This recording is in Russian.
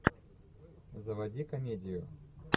заводи комедию